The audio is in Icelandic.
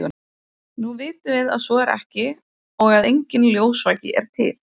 nú vitum við að svo er ekki og að enginn ljósvaki er til